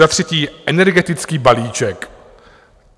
Za třetí energetický balíček.